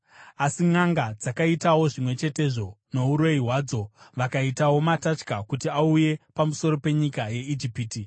Asi nʼanga dzakaitawo zvimwe chetezvo nouroyi hwadzo; vakaitawo matatya kuti auye pamusoro penyika yeIjipiti.